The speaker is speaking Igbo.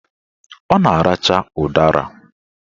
Ọ na-aracha ụdara